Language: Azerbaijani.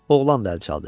Oğlan da əl çaldı.